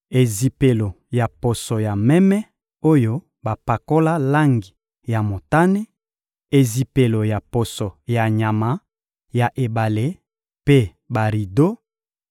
ezipelo ya poso ya meme oyo bapakola langi ya motane, ezipelo ya poso ya nyama ya ebale mpe barido,